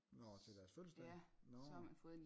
Nårh til deres fødselsdag nårh